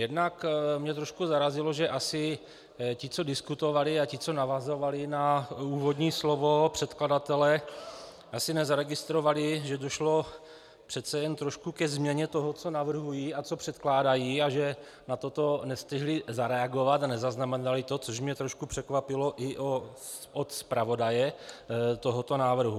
Jednak mě trošku zarazilo, že asi ti, co diskutovali, a ti, co navazovali na úvodní slovo předkladatele, asi nezaregistrovali, že došlo přece jen trošku ke změně toho, co navrhují a co předkládají, a že na toto nestihli zareagovat a nezaznamenali to, což mě trošku překvapilo i od zpravodaje tohoto návrhu.